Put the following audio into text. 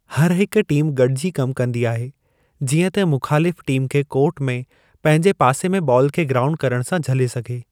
हर हिक टीम गडि॒जी कमु कंदी आहे जीअं त मुख़ालिफ़ु टीम खे कोर्ट में, पंहिंजे पासे में बालु खे ग्राउंड करणु सां झले सघे।